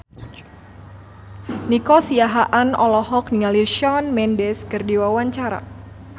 Nico Siahaan olohok ningali Shawn Mendes keur diwawancara